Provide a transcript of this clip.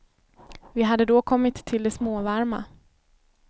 Vi hade då kommit till det småvarma.